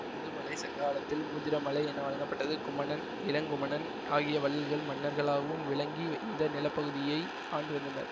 முதுமலை சங்ககாலத்தில் முதிரமலை என வழங்கப்பட்டது குமணன் இளங்குமணன் ஆகிய வள்ளல்கள் மன்னர்களாகவும் விளங்கி இந்த நிலப்பகுதியை ஆண்டுவந்தனர்